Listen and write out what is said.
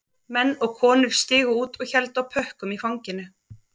Menn og konur stigu út og héldu á pökkum í fanginu